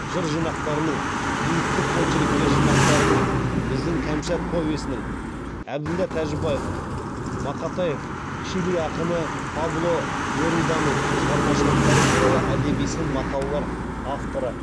жыр жинақтарының биіктік очерктер жинақтарының біздің кәмшат повесінің әбілдә тәжібаев мақатаев чили ақыны пабло неруданың шығармашылықтары туралы әдеби сын мақалалардың авторы